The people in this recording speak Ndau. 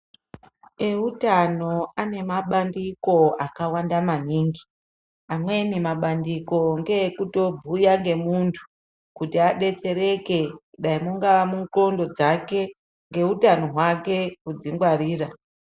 Eutano ane mabandiko akawanda maningi amweni mabandiko ngeekutobhuya nemuntu kuti adetsereke dai ungari mundxondo dzakwe neutano hwake kudzingwarira.